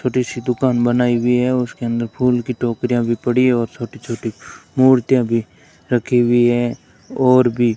छोटी सी दुकान बनाई हुई है उसके अंदर फूल की टोकरियां भी पड़ी है और छोटी छोटी मूर्तियां भी रखी हुई है और भी --